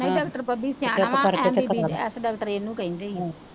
ਨਹੀਂ ਡਾਕਟਰ ਬੱਬੀ ਸਿਆਣਾ ਵਾਂ MBBS ਡਾਕਟਰ ਏਨੂੰ ਕਹਿੰਦੇ ਏ